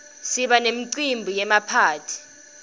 siba nemicimbi yemaphathi